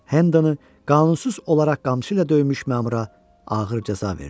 Hendonı qanunsuz olaraq qamçı ilə döymüş məmura ağır cəza verdi.